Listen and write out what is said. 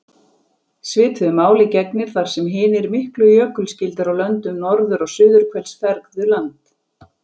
Svipuðu máli gegnir þar sem hinir miklu jökulskildir á löndum norður- og suðurhvels fergðu land.